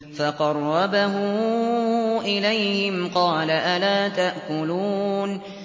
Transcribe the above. فَقَرَّبَهُ إِلَيْهِمْ قَالَ أَلَا تَأْكُلُونَ